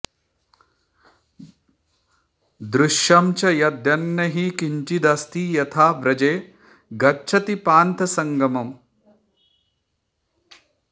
दृश्यं च यद्यन्न हि किञ्चिदस्ति यथा व्रजे गच्छति पान्थसङ्गमम्